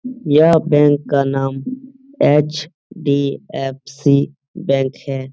यह बैंक का नाम एच.डी.एफ.सी बैंक है।